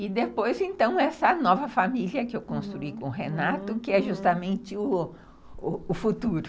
E depois, então, essa nova família que eu construí com o Renato, que é justamente o futuro.